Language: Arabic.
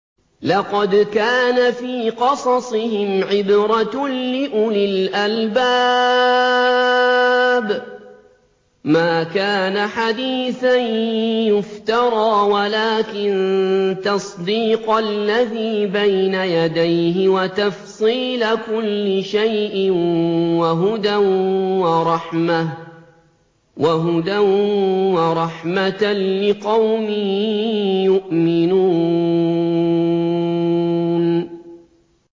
لَقَدْ كَانَ فِي قَصَصِهِمْ عِبْرَةٌ لِّأُولِي الْأَلْبَابِ ۗ مَا كَانَ حَدِيثًا يُفْتَرَىٰ وَلَٰكِن تَصْدِيقَ الَّذِي بَيْنَ يَدَيْهِ وَتَفْصِيلَ كُلِّ شَيْءٍ وَهُدًى وَرَحْمَةً لِّقَوْمٍ يُؤْمِنُونَ